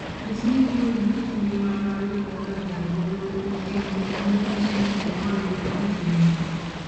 Nyis ni imor gi kit ngima mar joma odak e alworau kuom timo gik ma nyiso ni imor gi kit ngimagi.